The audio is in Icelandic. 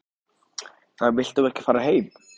Þú vilt þá ekki fara heim?